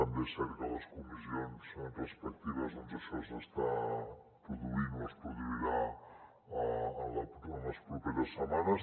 també és cert que a les comissions respectives això s’està produint o es produirà en les properes setmanes